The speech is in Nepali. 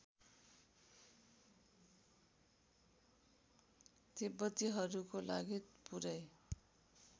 तिब्बतीहरूको लागि पुरै